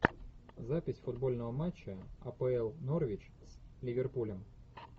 запись футбольного матча апл норвич с ливерпулем